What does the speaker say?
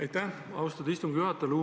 Aitäh, austatud istungi juhataja!